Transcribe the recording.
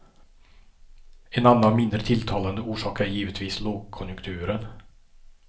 En annan mindre tilltalande orsak är givetvis lågkonjunkturen.